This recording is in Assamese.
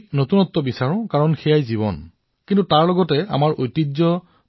আমি নতুন হব লাগিব আৰু সেয়াই হৈছে জীৱন কিন্তু পৰম্পৰাও হেৰুৱাব নালাগিব